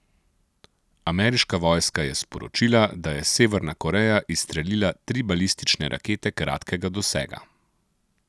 Ameriška vojska je sporočila, da je Severna Koreja izstrelila tri balistične rakete kratkega dosega.